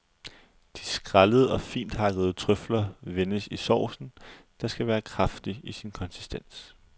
De skrællede og finthakkede trøfler vendes i saucen, der skal være kraftig i sin konsistens.